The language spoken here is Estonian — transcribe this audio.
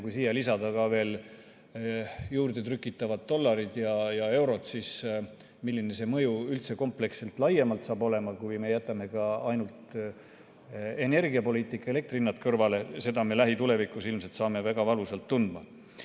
Kui siia lisada juurde ka trükitavad dollarid ja eurod, siis seda, milline see mõju üldse kompleksselt laiemalt saab olema, kui me jätame ka energiapoliitika ja elektrihinnad kõrvale, saame me lähitulevikus ilmselt väga valusalt tundma.